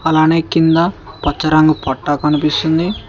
అలానే కింద పచ్చ రంగు పట్ట కనిపిస్తుంది.